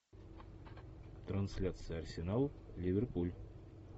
трансляция арсенал ливерпуль